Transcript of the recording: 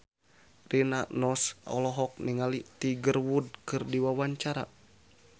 Rina Nose olohok ningali Tiger Wood keur diwawancara